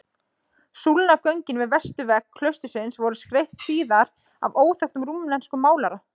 Súlnagöngin við vesturvegg klaustursins voru skreytt síðar af óþekktum rúmenskum málara.